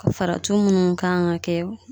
Faratuw munnu kan ka kɛ